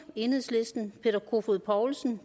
peter kofod poulsen